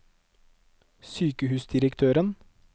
sykehusdirektøren